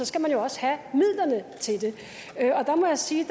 skal man jo også have midlerne til det og der må jeg sige